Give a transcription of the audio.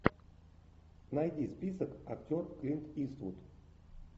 найди список актер клинт иствуд